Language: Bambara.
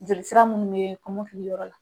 Jolisira munnu be kɔmɔkili yɔrɔ la.